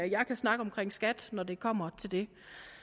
jeg kan snakke om skat når det kommer til det